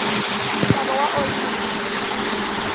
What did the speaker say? nxavo wa oyili yimbisi